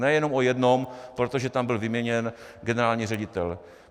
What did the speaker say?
Ne jenom o jednom, protože tam byl vyměněn generální ředitel.